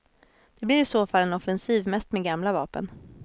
Det blir i så fall en offensiv mest med gamla vapen.